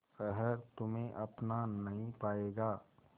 शहर तुम्हे अपना नहीं पाएगा